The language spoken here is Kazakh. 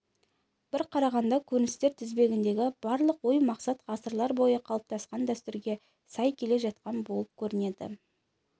бір қарағанда көріністер тізбегіндегі барлық ой-мақсат ғасырлар бойы қалыптасқан дәстүрге сай келе жатқандай болып көрінеді